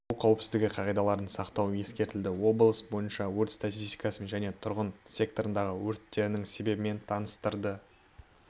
су қауіпсіздігі қағидаларын сақтау ескертілді облыс бойынша өрт статистикасымен және тұрғын секторындағы өрттерің себебімен таныстырды